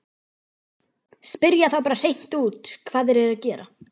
Spyrja þá bara hreint út hvað þeir eru að gera.